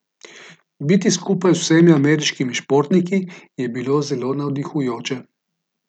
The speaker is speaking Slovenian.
Biti skupaj z vsemi ameriškimi športniki je bilo zelo navdihujoče.